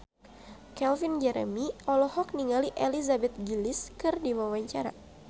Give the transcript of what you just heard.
Calvin Jeremy olohok ningali Elizabeth Gillies keur diwawancara